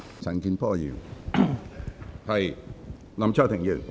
陳健波議員，請發言。